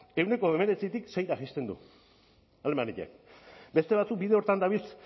ehuneko hemeretzitik seira jaisten du alemaniak beste batzuk bide horretan dabiltz